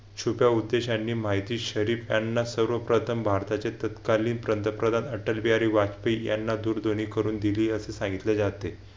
छोट्या उद्देशाने माहिती शरीफ यांना सर्वप्रथम भारताचे तत्कालीन पंतप्रधान अटल बिहारी वाजपेयी यांना दूरध्वनी करून दिली असे सांगितले जाते.